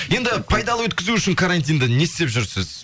енді пайдалы өткізу үшін карантинді не істеп жүрсіз